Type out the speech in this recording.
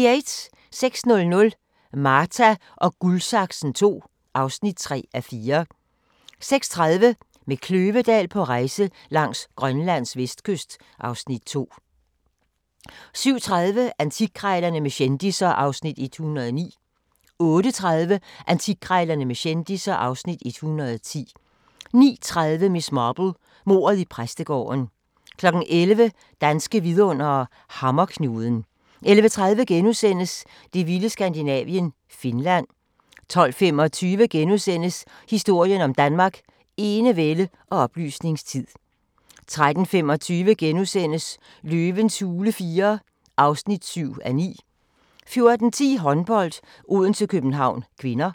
06:00: Marta & Guldsaksen II (3:4) 06:30: Med Kløvedal på rejse langs Grønlands vestkyst (Afs. 2) 07:30: Antikkrejlerne med kendisser (Afs. 109) 08:30: Antikkrejlerne med kendisser (Afs. 110) 09:30: Miss Marple: Mordet i præstegården 11:00: Danske vidundere: Hammerknuden 11:30: Det vilde Skandinavien – Finland * 12:25: Historien om Danmark: Enevælde og oplysningstid * 13:25: Løvens hule IV (7:9)* 14:10: Håndbold: Odense-København (k)